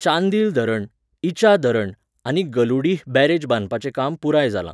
चांदील धरण, इचा धरण आनी गलुडीह बॅरेज बांदपाचें काम पुराय जालां.